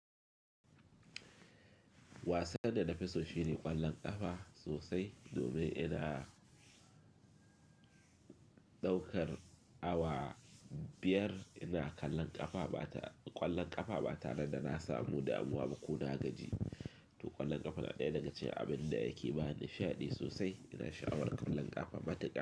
Wasan da na fi soshi ne ƙwallon ƙafa sosai domin ina ɗaukar awa biyar ina kallon ƙafa ba ta, ƙwallon ƙafa ba tare da na samu damuwa ba ko na gaji. To ƙwallon ƙafa na ɗaya daga cikin abin da yake bani sha'adi sosai ina sha'awar ƙwallon ƙafa mataka.